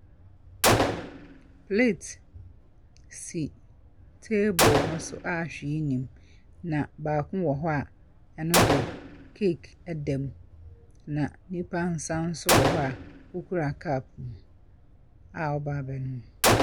Plate si table no so a hwee nni mu, na baako wɔ hɔ a, ɛni de cake da mu. Na nipa nsa nso wɔ ha a ɔkura cup a ɔreba abɛnom.